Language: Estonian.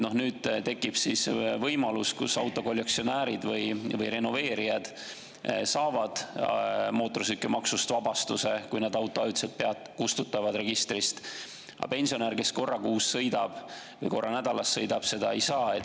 Nüüd tekib võimalus, kus autokollektsionäärid või renoveerijad saavad mootorsõidukimaksust vabastuse, kui nad auto ajutiselt registrist kustutavad, aga pensionär, kes korra kuus sõidab või korra nädalas sõidab, seda ei saa.